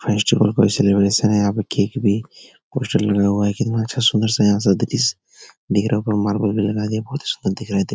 Celebration यहाँ पर cake भी पोस्टर लगाया गया है पर मार्बल भी लगाए गए बहुत ही सुंदर दिख रहा है ।